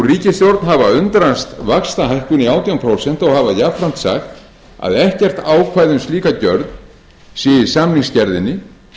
ríkisstjórn hafa undrast vaxtahækkun í átján prósent og hafa jafnframt sagt að ekkert ákvæði um slíka gjörð sé í samningsgerðinni